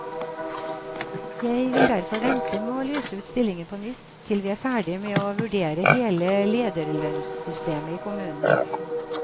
Jeg vil derfor vente med å lyse ut stillingen på nytt til vi er ferdig med å vurdere hele lederlønnssystemet i kommunen.